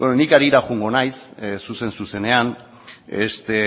beno ni harira joango naiz zuzen zuzenean